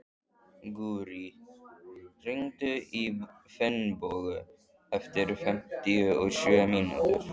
Gurrí, hringdu í Finnbogu eftir fimmtíu og sjö mínútur.